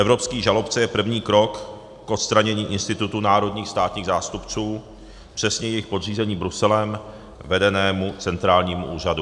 Evropský žalobce je první krok k odstranění institutu národních státních zástupců, přesně jejich podřízení Bruselem vedenému centrálnímu úřadu.